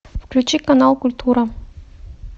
включи канал культура